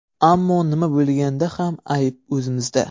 Ammo nima bo‘lganda ham ayb o‘zimizda.